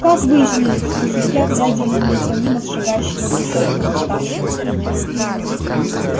как выяснили спросил я глядя на неутомимо шагающего в решётку восставшего